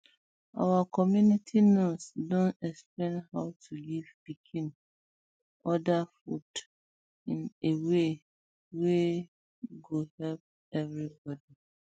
our community nurse don explain how to give pikin other food in a way wey go help everybody